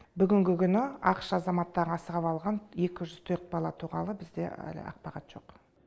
бүгінгі күні ақш азаматтары асырап алған екі жүз төрт бала туралы бізде әлі ақпарат жоқ